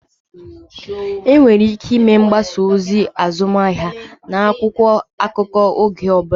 Enwere ike ịme mgbasa ozi azụmahịa n'akwụkwọ akụkọ oge ọ bụla